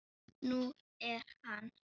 Nú er hann